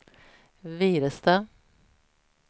Virestad